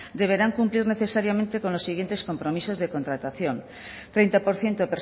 deberán cumplir necesariamente con los siguientes compromisos de contratación treinta por ciento